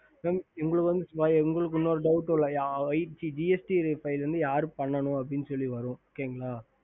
ஹம்